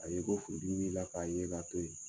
Ka ye ko furu dimi b'i la, k'a ye ka to yen.